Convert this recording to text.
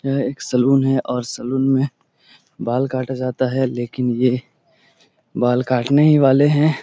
यह एक सैलून है और सैलून में बाल काटा जाता है । लेकिन ये बाल कटाने ही वाले है ।